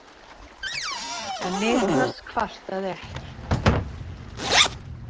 En Niklas kvartaði ekki.